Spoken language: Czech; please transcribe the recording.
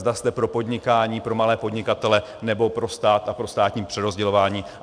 Zda jste pro podnikání, pro malé podnikatele, nebo pro stát a pro státní přerozdělování.